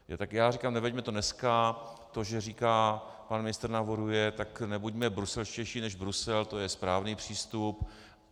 Tak já říkám, neveďme to dneska, to že říká pan ministr, navrhuje, tak nebuďme bruselštější než Brusel, to je správný přístup.